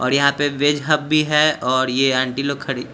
और यहाँ पे वेज हब भी हैं और ये आंटी लोग खड़ी--